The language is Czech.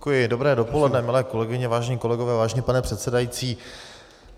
Dobré dopoledne, milé kolegyně, vážení kolegové, vážený pane předsedající.